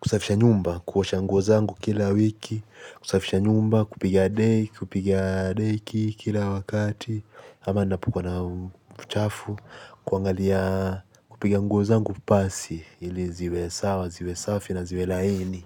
kusafisha nyumba, kuosha nguo zangu kila wiki. Kusafisha nyumba, kupiga deki, kupiga deki, kila wakati. Ama napokuwa na uchafu kuangalia kupiga nguo zangu pasi. Ili ziwe sawa, ziwe safi na ziwe laini.